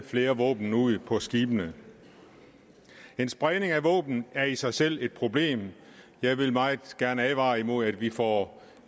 flere våben ude på skibene en spredning af våben er i sig selv et problem jeg vil meget gerne advare imod at vi får